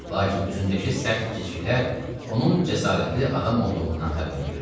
Lakin üzündəki sərt cizgilər onun cəsarətli adam olduğundan xəbər verirdi.